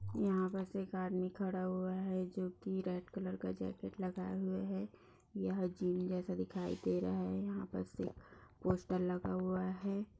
यह बस एक आदमी खड़ा हुआ है जो की रेड कलर का जैकट लगाए हुए है ये जिन जैसा दिखाई दे रहा है यह पर सिक पोस्टर लगा हुआ है।